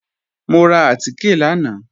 Mo ra àtìkè lánàá